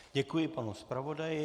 Děkuji panu zpravodaji.